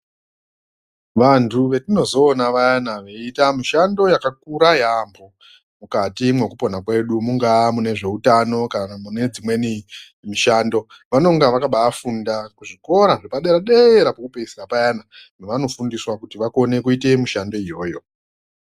Vantu vetinozoona vayana veiita mishando yakakura yaampho, mukati mwekupona kwedu mungaa mune zveutano kana mune dzimweni mishando, vanonga vakabaafunda kuzvikora zvepadera-dera pokupedzisira payana kwevanofundiswa kuti vakone kuite mishando iyoyo.